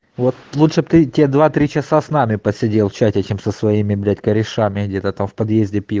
вот лучше прийти два три часа с нами поседел чате чем со своими блять корешами где-то там в подъезде пил